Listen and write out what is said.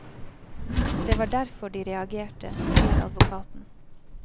Det var derfor de reagerte, sier advokaten.